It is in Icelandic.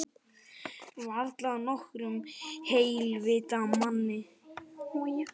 Varla nokkrum heilvita manni.